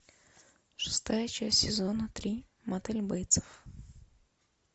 шестая часть сезона три мотель бейтса